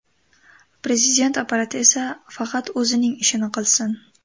Prezident apparati esa faqat o‘zining ishini qilsin.